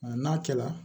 N'a kɛla